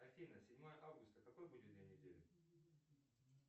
афина седьмое августа какой будет день недели